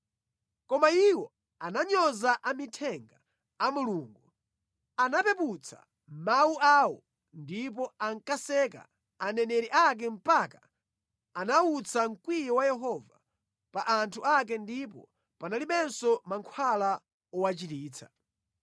Koma iwo ananyoza amithenga a Mulungu, anapeputsa mawu awo ndipo ankaseka aneneri ake mpaka anawutsa mkwiyo wa Yehova pa anthu ake ndipo panalibenso mankhwala owachiritsa.